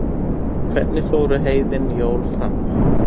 hvernig fóru heiðin jól fram